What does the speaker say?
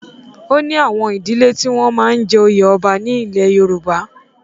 O ní àwọn ìdílẹ́ tí wọ́n máa ń jẹ oyè ọba ní ilẹ̀ Yorùbá.